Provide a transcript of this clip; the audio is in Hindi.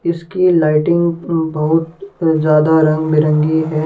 इसकी लाइटिंग अहं बहुत ज्यादा रंगबिरंगी है ।